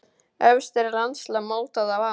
Efst er landslag mótað af ám.